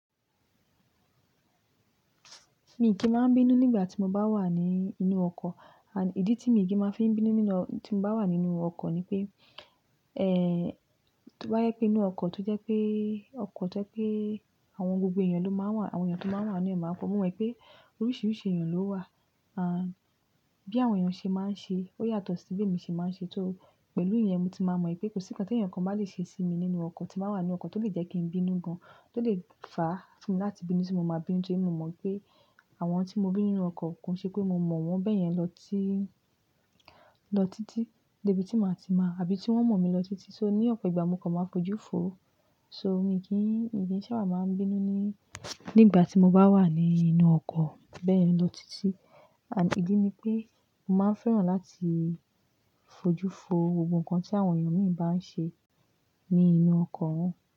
Mi kì í máa bínú nígbà tí mo bá wà ní inú ọkọ̀. Ìdí tí mi kì í máa fi ń bínú tí mo bá wà nínú ọkọ̀ ni pé, to bá jẹ̀ pé inú ọkọ̀ to jẹ́ pé ọkọ̀ jẹ́ pé àwọn gbogbo èèyàn tó máa wà níbẹ̀ máa fọ̀. Mo mọ̀ pé oríṣiríṣi èèyàn ló wà. Bí àwọn èèyàn ṣe máa ń ṣe ó yàtọ̀ sí bí èmi ṣe máa ń ṣe. Pẹ̀lú ìyẹn, mo ti máa mọ̀ pé kò sí nǹkan tí ẹnìkan bá lè ṣe sí mi nínú ọkọ̀ tí màá wà ní ọkọ̀ tó lè jẹ́ kí n bínú gan, tó lè fàá fún mi láti bínú tí mo máa bínú. Torí mo mọ̀ pé àwọn tí mo bí nínú ọkọ̀ kò ṣe pé mo mọ̀ wọ́n bẹ́ẹ̀ yẹn lọ títí dé ibi tí màá ti mọ̀ àbí tí wọ́n mọ̀ mi lọ títí. So ní ọ̀pọ̀ ìgbà mo kàn máa fojú fo. So mi kì í sábà máa ń bínú nígbà tí mo bá wà nínú ọkọ̀ bẹ́ẹ̀ yẹn lọ títí. Ìdí ni pé mo máa ń fẹ́ràn láti fojú fo gbogbo nkan tí àwọn èèyàn míì bá ń ṣe ní inú ọkọ̀ wọn.